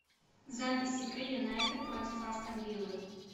запись игры юнайтед против астон виллы